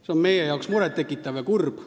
Meie arvates on see muret tekitav ja kurb.